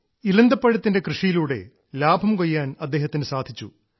ഇലന്തപ്പഴത്തിന്റെ കൃഷിയിലൂടെ ലാഭം കൊയ്യാൻ അദ്ദേഹത്തിന് സാധിച്ചു